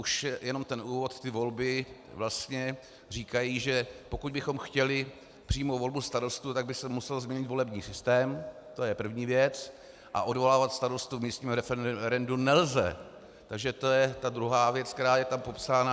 Už jenom ten úvod, ty volby vlastně říkají, že pokud bychom chtěli přímou volbu starostů, tak by se musel změnit volební systém, to je první věc, a odvolávat starostu v místním referendu nelze, takže to je ta druhá věc, která je tam popsána...